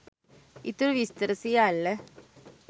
ඉතුරු විස්තර සියල්ල